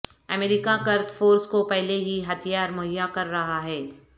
امریکہ Kurd force کو پہلے ہی ہتھیار مہیا کر رہا ہے